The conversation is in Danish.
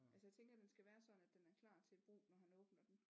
Altså jeg tænker den skal være sådan at den er klar til brug når han åbner den